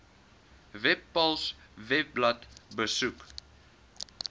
webpals webblad besoek